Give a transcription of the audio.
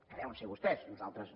que deuen ser vostès nosaltres no